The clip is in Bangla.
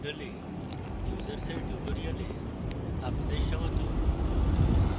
moodle এ users এর tutorial আপনাদের স্বাগত